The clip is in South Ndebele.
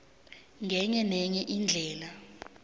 ngenye nenye indlela